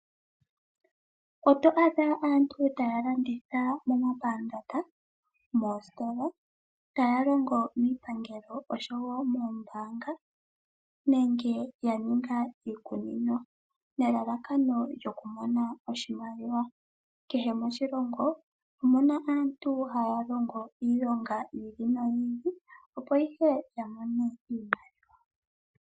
Oto adha aantu taya landitha momapandaanda, moositola, taya longo miipangelo oshowo moombanga nenge yaninga iikunino nelalakano lyoku mona oshimaliwa. kehe moshilongo omuna aantu haya longo iilonga yi ili ili opo ihe yamone iipalutha.